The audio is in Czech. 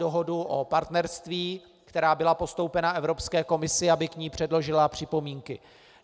Dohodu o partnerství, která byla postoupena Evropské komisi, aby k ní předložila připomínky.